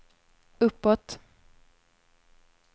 uppåt